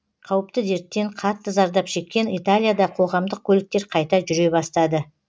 қауіпті дерттен қатты зардап шеккен италияда қоғамдық көліктер қайта жүре бастады